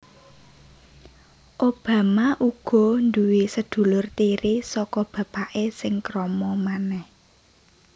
Obama uga duwé sedulur tiri saka bapaké sing krama manèh